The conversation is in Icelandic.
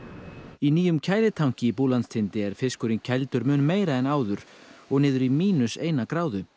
í nýjum er fiskurinn kældur mun meira en áður og niður í mínus eina gráðu